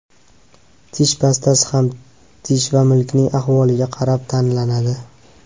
Tish pastasi ham tish va milkning ahvoliga qarab tanlanadi.